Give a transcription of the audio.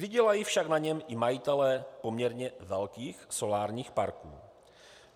Vydělají však na něm i majitelé poměrně velkých solárních parků.